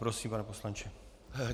Prosím, pane poslanče.